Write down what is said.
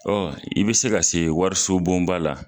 i bɛ se ka se wariso bonba la,